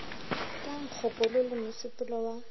ya nkgokolo le mosepelo wa